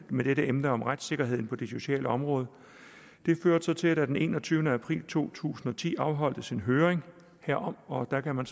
med dette emne om retssikkerheden på det sociale område førte så til at der den enogtyvende april to tusind og ti afholdtes en høring herom og der kan man